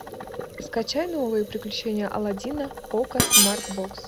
скачай новые приключения алладина окко смарт бокс